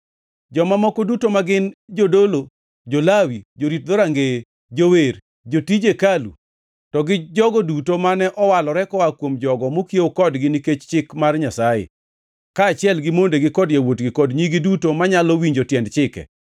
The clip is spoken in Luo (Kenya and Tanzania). “Joma moko duto ma gin, jodolo, jo-Lawi, jorit dhorangeye, jower, jotij hekalu, to gi jogo duto mane owalore koa kuom jogo mokiewo kodgi nikech Chik mar Nyasaye, kaachiel gi mondegi kod yawuotgi kod nyigi duto manyalo winjo tiend chike,